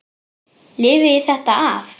Lifi ég þetta af?